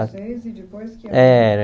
Com vocês e depois que? Era